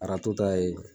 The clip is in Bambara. Arajo ta ye